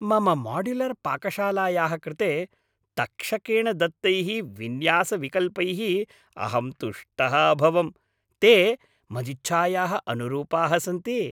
मम माड्युलर् पाकशालायाः कृते तक्षकेण दत्तैः विन्यासविकल्पैः अहं तुष्टः अभवम् ते मदिच्छायाः अनुरूपाः सन्ति।